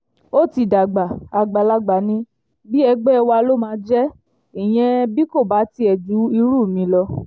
ó ti dàgbà àgbàlagbà ní bí ẹgbẹ́ wa ló máa jẹ́ ìyẹn bí kò bá tiẹ̀ ju irú mi lọ